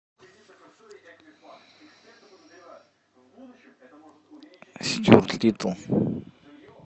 стюарт литтл